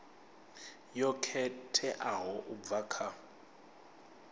yo khetheaho u bva kha